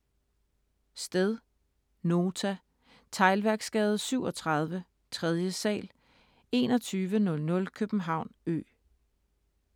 Sted: Nota. Teglværksgade 37, 3. sal, 2100 København Ø